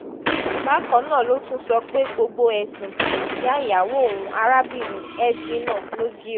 bákan náà ló tún sọ pé gbogbo ẹ̀sùn tí ìyá ìyàwó òun arábìnrin edwina logio